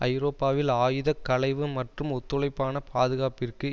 ஐரோப்பாவில் ஆயுத களைவு மற்றும் ஒத்துழைப்பான பாதுகாப்பிற்கு